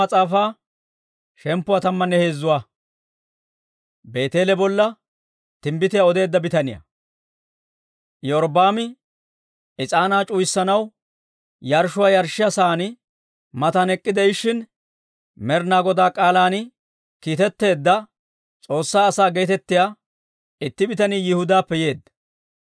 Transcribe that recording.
Iyorbbaami is'aanaa c'uwayanaw yarshshuwaa yarshshiyaa sa'aa matan ek'k'ide'ishshin, Med'inaa Godaa k'aalan kiitetteedda, S'oossaa asaa geetettiyaa itti bitanii Yihudaappe yeedda.